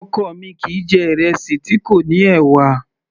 Ọkọ mi kìí jẹ̀ ìrẹsì tí kò ní ẹ̀wà